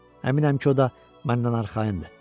Əminəm ki, o da məndən arxayındır.